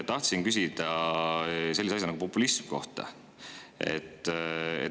Tahtsin küsida sellise asja kohta nagu populism.